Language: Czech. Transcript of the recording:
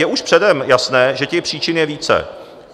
Je už předem jasné, že těch příčin je více.